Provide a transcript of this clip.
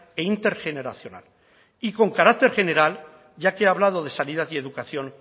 e intergeneracional y con carácter general ya que he hablado de sanidad y educación